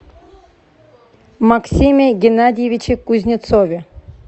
максиме геннадьевиче кузнецове